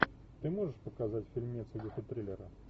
ты можешь показать фильмец в духе триллера